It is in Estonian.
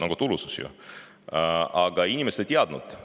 Aga inimesed seda ei.